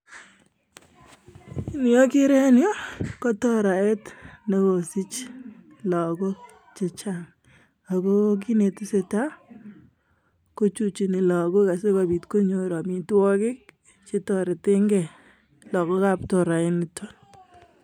Ni okere en yu ko toret neo, nekosich lagook chechang ako kit netesetai ko chuchuniii lagook asikobiit konyoor amitwogik chetoretengei lagook ab toraainitok.